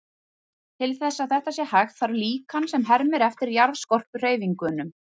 Til þess að þetta sé hægt, þarf líkan sem hermir eftir jarðskorpuhreyfingunum.